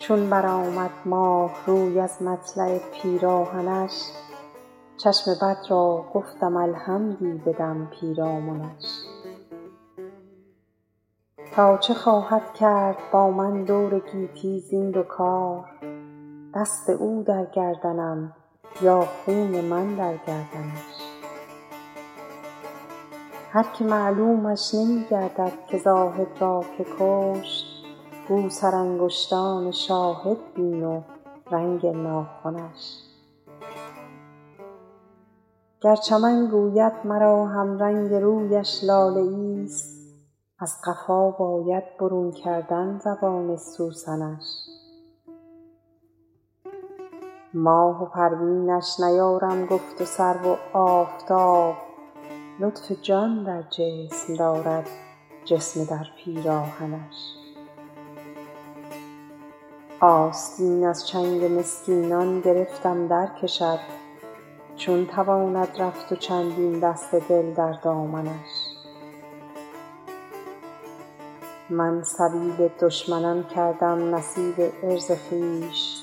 چون برآمد ماه روی از مطلع پیراهنش چشم بد را گفتم الحمدی بدم پیرامنش تا چه خواهد کرد با من دور گیتی زین دو کار دست او در گردنم یا خون من در گردنش هر که معلومش نمی گردد که زاهد را که کشت گو سرانگشتان شاهد بین و رنگ ناخنش گر چمن گوید مرا همرنگ رویش لاله ایست از قفا باید برون کردن زبان سوسنش ماه و پروینش نیارم گفت و سرو و آفتاب لطف جان در جسم دارد جسم در پیراهنش آستین از چنگ مسکینان گرفتم درکشد چون تواند رفت و چندین دست دل در دامنش من سبیل دشمنان کردم نصیب عرض خویش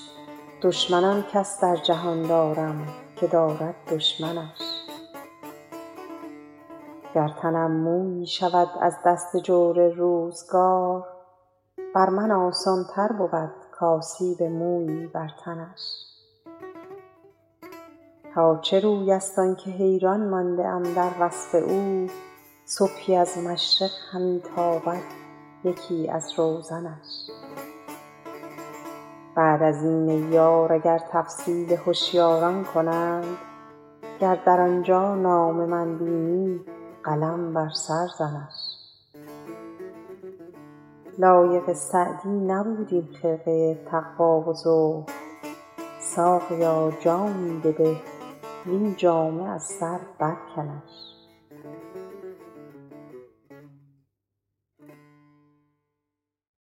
دشمن آن کس در جهان دارم که دارد دشمنش گر تنم مویی شود از دست جور روزگار بر من آسان تر بود کآسیب مویی بر تنش تا چه روی است آن که حیران مانده ام در وصف او صبحی از مشرق همی تابد یکی از روزنش بعد از این ای یار اگر تفصیل هشیاران کنند گر در آنجا نام من بینی قلم بر سر زنش لایق سعدی نبود این خرقه تقوا و زهد ساقیا جامی بده وین جامه از سر برکنش